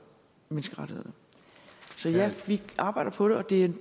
menneskerettighederne så ja vi arbejder på det